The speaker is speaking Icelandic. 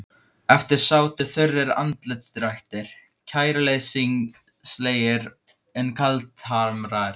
Eftir sátu þurrir andlitsdrættir, kæruleysislegir en kaldhamraðir.